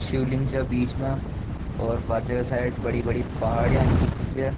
शिवलिंग छे बीच में और पाछे साइड बड़ी-बड़ी पहाड़ियां दिख री छे।